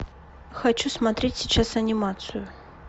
хочу смотреть сейчас анимацию